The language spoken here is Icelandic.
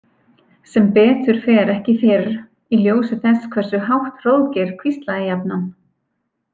Sem betur fer ekki fyrr, í ljósi þess hversu hátt Hróðgeir hvíslaði jafnan.